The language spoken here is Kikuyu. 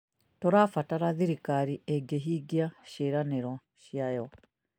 Tũrabatara thirikari ĩngĩhingia ciĩranĩro ciayo